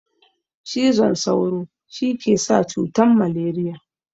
Cizon sauru shikesa cutan maleriya